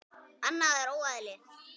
Annað er óeðli.